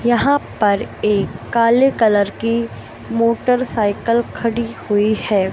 यहां पर एक काले कलर की मोटरसाइकिल खड़ी हुई है।